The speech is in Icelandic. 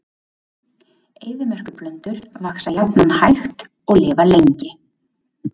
Eyðimerkurplöntur vaxa jafnan hægt og lifa lengi.